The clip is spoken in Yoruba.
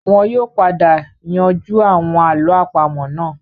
Wọn yóò padà yanjú àwọn àlọ́ àpamọ́ náà